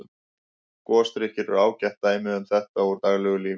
Gosdrykkir eru ágætt dæmi um þetta úr daglegu lífi.